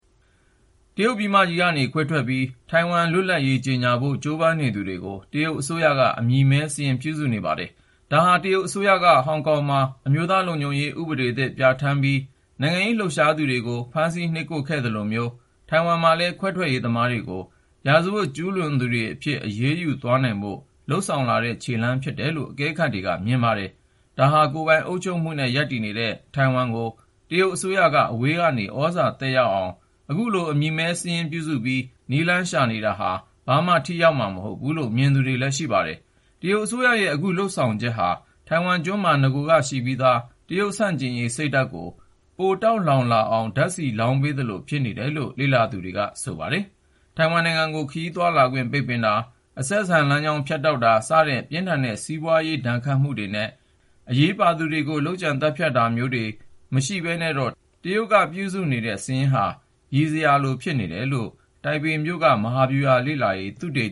တရုတ်ပြည်မကြီးကနေ ခွဲထွက်ပြီး ထိုင်ဝမ်လွတ်လပ်ရေး ကြေညာဖို့ ကြိုးပမ်းနေသူတွေကို တရုတ်အစိုးရက အမည်မည်းစာရင်း ပြုစုနေပါတယ်။ ဒါဟာ တရုတ်အစိုးရက ဟောင်ကောင်မှာ အမျိုးသားလုံခြုံရေး ဥပဒေသစ် ပြဋ္ဌာန်းပြီး နိုင်ငံရေးလှုပ်ရှားသူတွေကို ဖမ်းဆီး နှိပ်ကွပ်ခဲ့သလိုမျိုး ထိုင်ဝမ်မှာလည်း ခွဲထွက်ရေးသမားတွေကို ရာဇဝတ် ကျူးလွန်သူတွေအဖြစ် အရေးယူသွားနိုင်ဖို့ လုပ်ဆောင်လာတဲ့ခြေလှမ်း ဖြစ်တယ်လို့ အကဲခတ်တွေက မြင်ပါတယ်။ ဒါဟာ ကိုယ်ပိုင်အုပ်ချုပ်မှုနဲ့ ရပ်တည်နေတဲ့ ထိုင်ဝမ်ကို တရုတ်အစိုးရက အဝေးကနေ သြဇာသက်ရောက်အောင် အခုလို အမည်မည်းစာရင်း ပြုစုပြီး နည်းလမ်းရှာနေတာဟာ ဘာမှ ထိရောက်မှာမဟုတ်ဘူးလို့ မြင်သူတွေလည်း ရှိပါတယ်။ တရုတ်အစိုးရရဲ့ အခုလုပ်ဆောင်ချက်ဟာ ထိုင်ဝမ်ကျွန်းမှာ နဂိုကရှိပြီးသား တရုတ်ဆန့်ကျင်ရေးစိတ်ဓာတ်ကို ပိုတောက်လောင်လာအောင် ဓာတ်ဆီလောင်းပေးသလို ဖြစ်နေတယ်လို့ လေ့လာသူတွေက ဆိုပါတယ်။ ထိုင်ဝမ်ကို ခရီးသွားလာခွင့် ပိတ်ပင်တာ၊ အဆက်အဆံလမ်းကြောင်း ဖြတ်တောက်တာ စတဲ့ ပြင်းထန်တဲ့ စီးပွားရေး ဒဏ်ခတ်မှုတွေနဲ့ အရေးပါသူတွေကို လုပ်ကြံတာမျိုးတွေ မရှိဘဲနဲ့တော့ တရုတ်ကပြုစုနေတဲ့ စာရင်းဟာ ရယ်စရာလို ဖြစ်နေမယ်လို့ တိုင်ပေမြို့က မဟာဗျူဟာလေ့လာရေး သုတေ